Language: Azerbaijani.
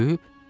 Ölüb?